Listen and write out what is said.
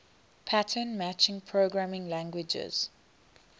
pattern matching programming languages